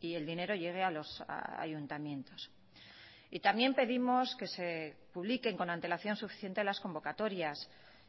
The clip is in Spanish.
y el dinero llegue a los ayuntamientos y también pedimos que se publiquen con antelación suficiente las convocatorias